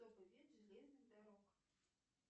железных дорог